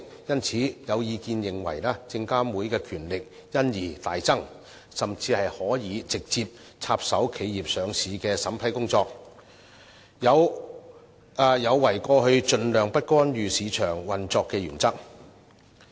因此，有意見認為證監會的權力因而大增，甚至可直接插手企業上市的審批工作，有違過去盡量不干預市場運作的原則。